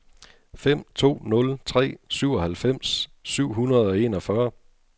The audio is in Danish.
fem to nul tre syvoghalvfems syv hundrede og enogfyrre